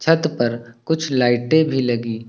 छत पर कुछ लाइटें भी लगी--